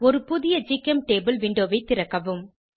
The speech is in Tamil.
ஒரு புதிய ஜிசெம்டபிள் விண்டோவை திறக்கவும்